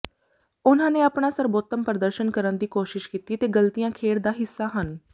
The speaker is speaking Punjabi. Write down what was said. ਉਨ੍ਹਾਂ ਨੇ ਆਪਣਾ ਸਰਬੋਤਮ ਪ੍ਰਦਰਸ਼ਨ ਕਰਨ ਦੀ ਕੋਸ਼ਿਸ਼ ਕੀਤੀ ਤੇ ਗ਼ਲਤੀਆਂ ਖੇਡ ਦਾ ਹਿੱਸਾ ਹਨ